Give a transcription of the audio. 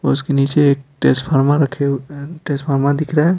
और उसके नीचे एक ट्रांसफार्मर रखे हुए ट्रांसफार्मर दिख रहा हैं।